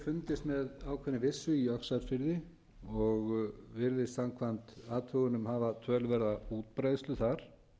fundist með ákveðinni vissu í öxarfirði og virðist samkvæmt athugunum hafa töluverða útbreiðslu þar